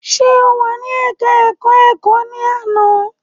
Ṣe o wà ní ẹka ẹ̀kọ́ ẹ̀kọ́ ní àná?